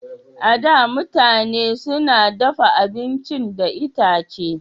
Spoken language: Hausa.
A da, mutane su na dafa abincin da itace.